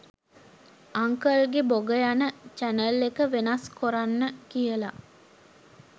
අංකල්ගේ බොග යන චැනල් එක වෙනස් කොරන්න කියලා